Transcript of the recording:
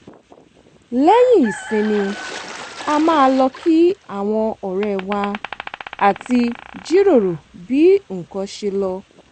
lẹ́yìn ìsinmi a máa lọ kí àwọn ọ̀rẹ́ wa àti jiròrò bí nǹkan ṣe lọ